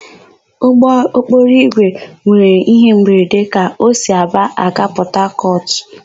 Ụgbọokporoigwe nwere íhé mberede ka o si Aba aga Pọtakọtụ.